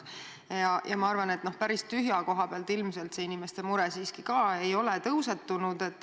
Ma arvan, et päris tühja koha pealt ei ole inimeste mure siiski tulnud.